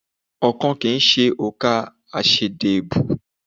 Oókan kì í ṣe òǹkà aṣeédẹ́bùú.